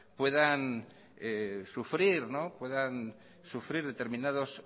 puedan sufrir determinados